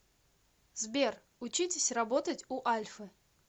сбер учитесь работать у альфы